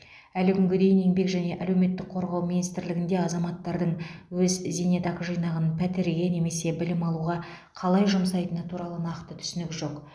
әлі күнге дейін еңбек және әлеуметтік қорғау министрлігінде азаматтардың өз зейнетақы жинағын пәтерге немесе білім алуға қалай жұмсайтыны туралы нақты түсінік жоқ